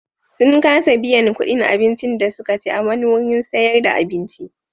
Sun kasa biyan kuɗin abincin da suka ci a wani wurin sayar da abinci.